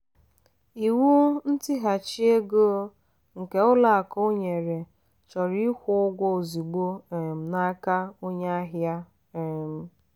iwu ntighachi ego nke ụlọ akụ nyere chọrọ ịkwụ ụgwọ ozugbo um n'aka onye ahịa. um